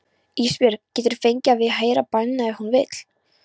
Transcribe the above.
Ísbjörg getur fengið að heyra bænina ef hún vill.